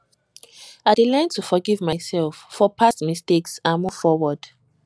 i dey learn to forgive myself for past mistakes and move forward